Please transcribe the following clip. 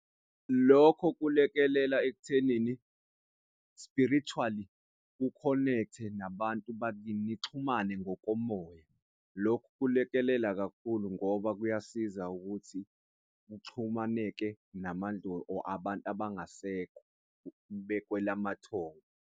Lokho kulekelela ekuthenini spiritually ukhonekthe nabantu bakini nixhumane ngokomoya. Lokho kulekelela kakhulu ngoba kuyasiza ukuthi uxhumaneke or abantu abangasekho bekwelamathongo.